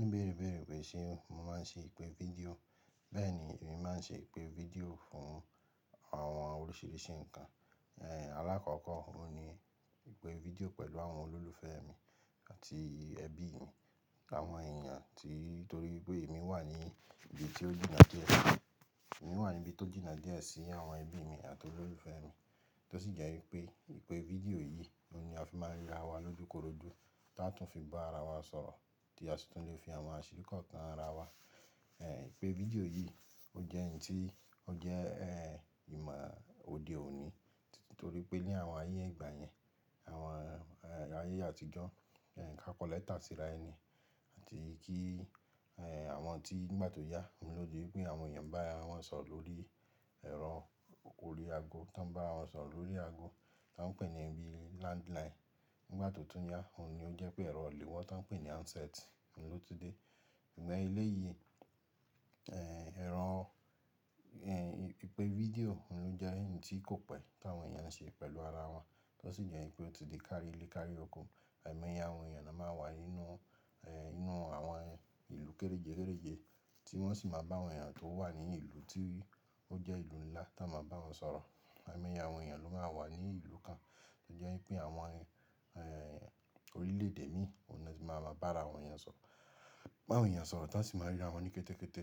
Ní bẹ́rẹ́bẹ́rẹ́ ìpè ṣe mo máa ń ṣe ìpè fídíò. Bẹ́ẹ̀ ni èmi máa ń ṣe ìpè fídíò fún àwọn oríṣìíríṣìí ǹkan. Ẹ̀ alákọ̀kọ́ òun ni ìpè fídíò pẹ̀lú àwọn olólùfẹ́ mi àti ẹbí mi. Àwọn èyàn tí torí pé èmi wà ní ibi tó jìnà díẹ̀ sí, èmi wà ní ibi tó jìnnà díẹ̀ sí àwọn ẹbí mi àti olólùfẹ́ mi. Tó sì jẹ́ wípé ìpè fídíò yí òun ni a fi máa ń rí ara wa lójúkorodú tá tún fi bá ara wa sọ̀rọ̀ tí a sì tún lè fi àwọn àṣírí kọ kan han ara wa. Ẹ̀ ìpè fídíò yìí ó jẹ́ nti ó jẹ́ ẹ̀ ìmọ̀ òde òní torí pé ní àwọn ayé ìgbà yẹn, àwọn ẹ̀ ayé àtijọ́ ẹ̀ ka kọlẹ́tà síra ẹni àti kí ẹ̀ àwọn tí nígbà tó yá, mi lòdí wípé àwọn èèyàn bá ara wọn sọ̀rọ̀ lórí ẹ̀rọ orí ago, tá ń bá ara wọn sọ̀rọ̀ lórí ago tá ń pè ní ibi landline. Nígbà tó tún yá òun ni ó jẹ́ pé ẹ̀rọ le wo tan pè ní handset ló ti dé. Ìgbà eleyì ẹ̀ ẹ̀rọ ẹ̀ ìpè fídíò òun lo jẹ́ n tí kò pẹ́ táwọn èyàn ń ṣe pẹ̀lú ara wọn. Tó sì jẹ́ wípé ó ti di kárí ilé kárí oko. Àìmọye àwọn èyàn ló máa wà nínú ẹ̀ nínú àwọn ìlú kéréjekeréje tí wọ́n sì máa bá àwọn èyàn tó wà ní ìlú tí ó jẹ́ ìlú ńlá tá máa bá wọn sọ̀rọ̀. Àimoye àwọn èyàn ló máa wà ní ìlú kan tó jẹ́ wípé àwọn ẹ̀ orílẹ̀ èdè mi òun ni tí máa ń bá ara àwọn èyàn sọ̀rọ̀, bá àwọn èyàn sọ̀rọ̀ tá sì máa ń ríra wọn ní kétékété.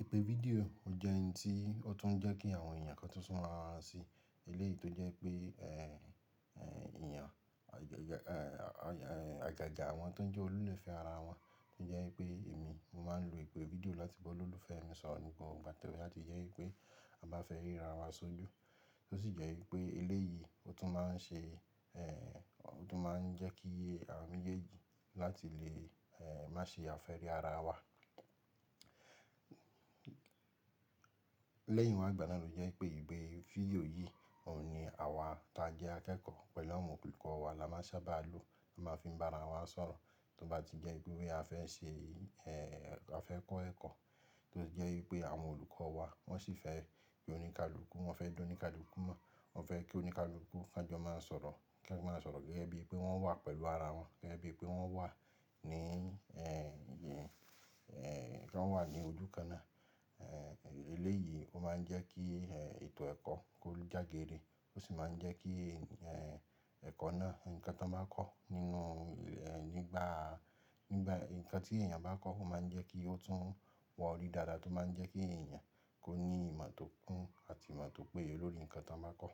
Ìpè fídíò ó jẹ́ n tí ó tún ń jẹ́ kí àwọn èyàn kan tó sún mọ́ ara si eléyí tó jẹ́ pé ẹ́ ẹ̀ èyàn ẹ̀ àjàjà wọn tó ń jẹ́ olùlofẹ́ ara wọn. Ó jẹ́ wípé èmi mo máa ń lo ìpè fídíò láti bá olólùfẹ́ mi sọ̀rọ̀ ní gbogo ìgbà tó bá ti jẹ́ wípé a bá fẹ́ ríra wa sójú. Tó sì jẹ́ wípé eleyì ó tún máa ń ṣe ẹ̀ ó tún máa ń jẹ́ kí ye àwọn méjeji láti lè ẹ̀ má ṣe àfẹ́rí ara wa. Lẹ́yìn wọ́n àgbà náà ló jẹ́ pé ìpè fídíò yì òun ni àwa tá jẹ́ akẹ́kọ̀ọ́ pẹ̀lú àwọn olùkọ́ wa la máa sábà lo. A máa fi ń bá ara wa sọ̀rọ̀. Tó bá ti jẹ́ wípé a fẹ́ ṣe ẹ̀ a fẹ́ kọ́ ẹ̀kọ́ tó jẹ́ wípé àwọn olùkọ́ wa wọ́n sì fẹ́ pé oníkálukú wọ́n fẹ́ da oníkálukú mọ́, wọ́n fẹ́ ki oníkálukú kan jọ máa sọ̀rọ̀, kan máa sọ̀rọ̀ gẹ́gẹ́ bí pé wọ́n wà pẹ̀lú ara wọn. Gẹ́gẹ́ bí pé wọ́n wà ní ẹ̀ ìyẹn ẹ̀ kan wà ní ojú kan náà. Eleyì ó máa ń jẹ́ kí ẹ̀ ètò ẹ̀kọ́ kó jágérè tó sì máa ń jẹ́ kí ẹ̀ ẹ̀kọ́ náà, ǹkan táa máa ń kọ́ nínú ẹ̀ nígbà á, nígbà ǹkan tí èèyàn bá kọ́ ó máa ń jẹ́ kí ó tún wọ̀ rí dára tó máa ń jẹ́ kí èyàn kó ní ìmọ̀ tó kún àti ìmọ̀ tó péye lórí ǹkan tán bá kọ́.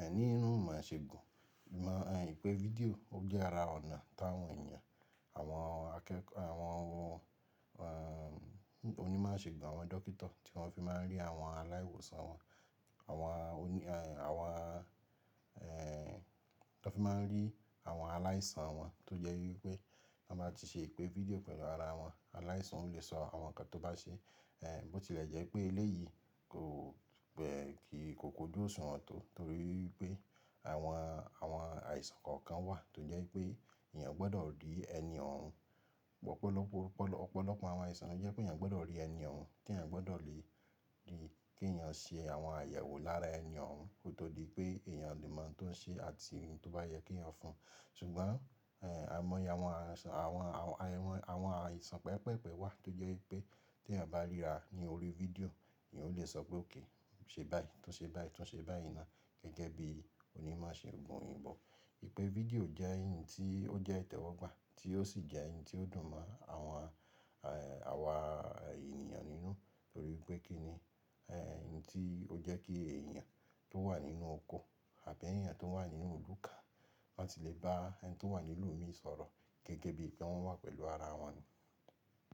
Ẹ̀ nínú ìmọ̀ ìṣègùn ìmọ̀ ẹ̀ ìpè fídíò ó jẹ́ ara ọ̀nà táwọn èyàn, àwọn akẹ́kọ̀ọ́ àwọn wọ́n onímọ̀ ìṣègùn àwọn dókítà tí wọ́n fi máa ń rí àwọn aláìwòsàn wọn, àwọn oní ẹ̀ àwọn ẹ̀ tó fi máa ń rí àwọn aláìsàn wọn tó jẹ́ wípé wọ́n máa ti ṣe ìpè fídíò pẹ̀lú ara wọn. Aláìsàn lè sọ àwọn ǹkan tó bá ṣe. Ẹ̀ bó tilẹ̀ jẹ́ wípé elẹ́yì kò pẹ́ ki kòju òṣùwọ̀n tó torí pé àwọn àwọn àìsàn kọ̀ọ̀kan wà tó jẹ́ wípé èyàn gbọdọ̀ rí ẹni òun. Ọ̀pọ̀lọ́pọ̀ ọ̀pọ̀lọ́pọ̀ àwọn àìsàn ló jẹ́ pé èyàn gbọdọ̀ rí ẹni òun kí èyàn gbọdọ̀ lè rí kí èèyàn ṣe àwọn àyẹ̀wò lára ẹni òun kó tó di pé èyàn lè mọ̀ tó ń ṣe àti tó bá yẹ kí èèyàn fún un. Ṣùgbọ́n ẹ̀ aimoye àwọn àìsàn pẹpẹ́pẹ wà tó jẹ́ wípé tí èyàn bá ríra ní orí fídíò, èyàn lè sọ pé òk ṣe báyí, tún ṣe báyí, tún ṣe báyì náà gẹ́gẹ́ bí onímọ̀ ìṣègùn òyìnbó. Ìpè fídíò jẹ́ n tí ó jẹ́ ìtẹ́wọ́gbà tí ó sì jẹ́ n tí ó dùn mọ́ àwọn ẹ̀ àwa ènyàn nínú torí pé kí ni ẹ̀ ẹni tí ó jẹ́ kí èyàn tó wà nínú oko àbí èyàn tó wà nínú ìlú kán láti lè bá ẹni tó wà nílù mi sọ̀rọ̀ gẹ́gẹ́ bí pé wọ́n wà pẹ̀lú ara wọn.